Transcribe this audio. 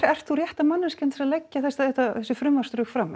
ert þú rétta manneskjan til að leggja þessi frumvarpsdrög fram